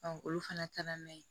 olu fana taara n'a ye